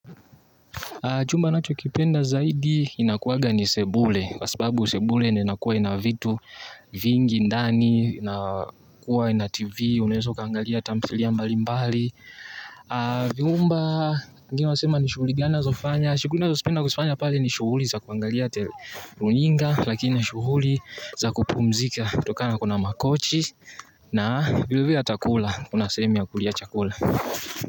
Chumba nachokipenda zaidi inakuwaga ni sebule, kwa sababu sebule ndio inakuwa ina vitu vingi ndani, na kuwa na tv, unaeza ukaangalia thamthilia mbali mbali. Vyumba, wengine wanasema ni shughuli gani nazofanya, shughuli nazopenda kuzifanya pale ni shughuli za kuangalia runinga, lakini shughuli za kupumzika, kutokana kuna makochi, na vile vile hata kula, kuna sehemu ya kulia chakula.